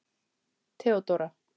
Theódóra